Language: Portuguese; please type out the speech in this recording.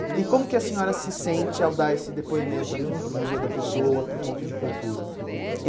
E e como que a senhora se sente ao dar esse depoimento aqui para o Museu da Pessoa, para o Ponto de Cultura?